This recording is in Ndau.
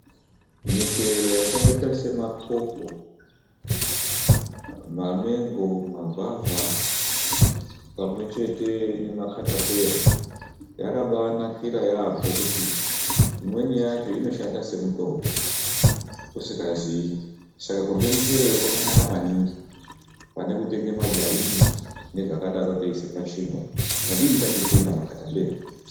Michero yakaita sema popo ,mamengo ,magwavha pamwe chete nemakhatapeya yakabanakira yambo kuti imweni yacho inoshanda semitombo usikazii. Saka kurya muchero wo kwakanaka maningi panekutenga majarini nezvakadero teyiisa pachingwa .Tadini tatenga makhatapeya.